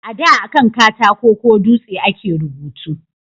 A da akan katako ko dutse a ke rubutu